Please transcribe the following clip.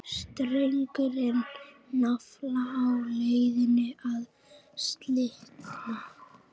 Strengurinn nafla á leiðinni að slitna.